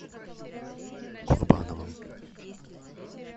курбановым